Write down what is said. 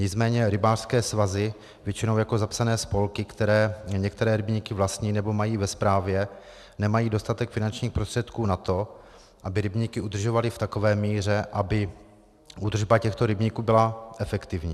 Nicméně rybářské svazy většinou jako zapsané spolky, které některé rybníky vlastní nebo mají ve správě, nemají dostatek finančních prostředků na to, aby rybníky udržovaly v takové míře, aby údržba těchto rybníků byla efektivní.